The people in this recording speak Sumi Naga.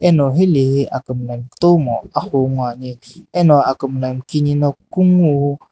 ano hilae he akum la kutomo ahu bhui ane ano akumla kenena --